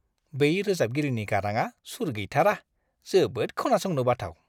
बै रोजाबगिरिनि गाराङा सुर गैथारा। जोबोद खोनासंनो बाथाव।